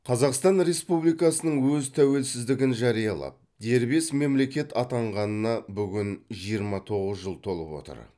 қазақстан республикасының өз тәуелсіздігін жариялап дербес мемлекет атанғанына бүгін жиырма тоғыз жыл толып отыр